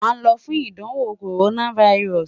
a n lọ fun idanwo coronavirus